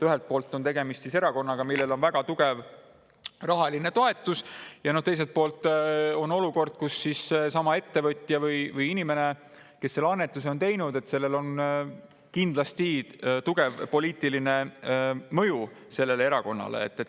Ühelt poolt on tegemist erakonnaga, millel on väga tugev rahaline toetus, ja teiselt poolt on olukord, kus sellelsamal ettevõtjal või inimesel, kes selle annetuse on teinud, on kindlasti tugev poliitiline mõju sellele erakonnale.